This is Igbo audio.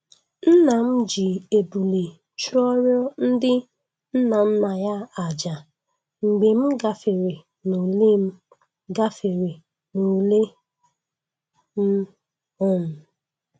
Nna m ji ebule chụọrọ ndị nnanna ya aja mgbe m gafere n'ule m gafere n'ule m um